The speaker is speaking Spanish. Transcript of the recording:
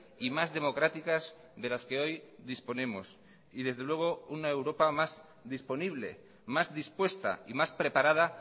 y más democráticas de las que hoy disponemos y desde luego una europa más disponible más dispuesta y más preparada